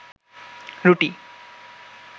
রুটি